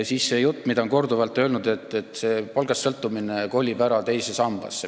Siis see jutt, mida on korduvalt räägitud, et palgast sõltumine kolib ära teise sambasse.